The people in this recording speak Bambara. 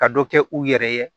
Ka dɔ kɛ u yɛrɛ ye